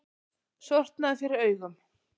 Sortnaði fyrir augum.